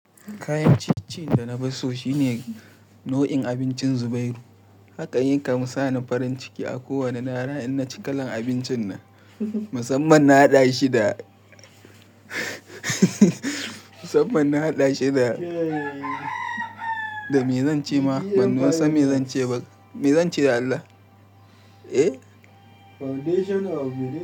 Kayan ciyeciyen da na fi so shine nau'in abincin zubairu. Hakan yakan sani farin ciki a kowane rana in na ci kalan abincin nan. Musamman na haɗa shi da, musamman na haɗa shi da, da mai zance ma, ban san mai zance ba. Mai zance dan Allah? Eh. Foundation of belief.